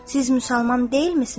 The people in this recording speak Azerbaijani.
Siz müsəlman deyilmisiniz?